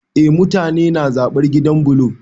Eh, mutane na zaɓar gidan bulo